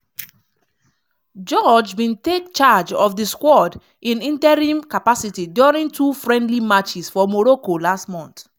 george bin take charge of di squad in interim capacity during two friendly matches for morocco last month.